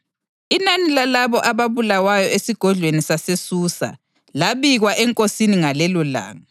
Inani lalabo ababulawayo esigodlweni saseSusa labikwa enkosini ngalelolanga.